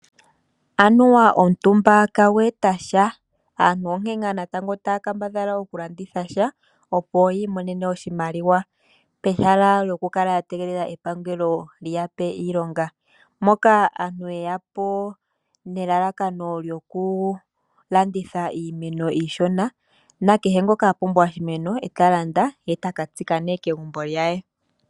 Anuwa omutumba kagu eta sha, aantu onkee ngaa natango taya kambadhala oku landitha sha opo yi imonene oshimaliwa pehala lyoku kala a tegelela epangelo liya pe iilonga, moka aantu yeyapo nelalakano lyoku landitha iimeno iishona nakehe ngoka a pumbwa oshimeno eta landa ye taka tsika nee kegumbo lye.